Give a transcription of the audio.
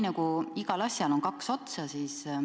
Aga igal asjal on kaks otsa.